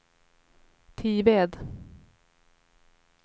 Tived